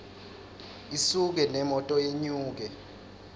isuke nemoto yenyuke